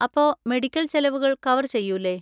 അപ്പോ മെഡിക്കൽ ചെലവുകൾ കവർ ചെയ്യൂലെ?